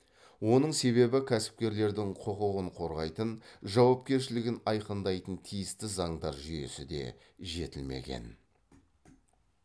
оның себебі кәсіпкерлердің құқығын қорғайтын жауапкершілігін айқындайтын тиісті заңдар жүйесі де жетілмеген